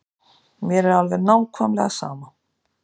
Mér er alveg nákvæmlega sama.